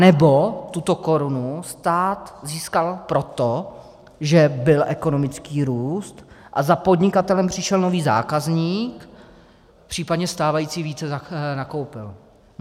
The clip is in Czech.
Anebo tuto korunu stát získal proto, že byl ekonomický růst a za podnikatelem přišel nový zákazník, případně stávající více nakoupil?